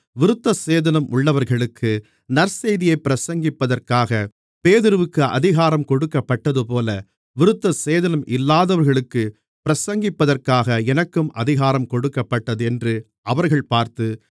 விருத்தசேதனம் உள்ளவர்களுக்கு நற்செய்தியைப் பிரசங்கிப்பதற்காக பேதுருவிற்கு அதிகாரம் கொடுக்கப்பட்டதுபோல விருத்தசேதனம் இல்லாதவர்களுக்குப் பிரசங்கிப்பதற்காக எனக்கும் அதிகாரம் கொடுக்கப்பட்டதென்று அவர்கள் பார்த்து